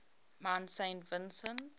mount saint vincent